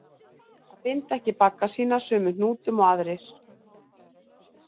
Að binda ekki bagga sína sömu hnútum og aðrir